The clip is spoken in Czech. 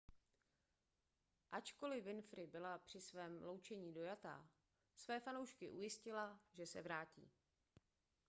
ačkoliv winfrey byla při svém loučení dojatá své fanoušky ujistila že se vrátí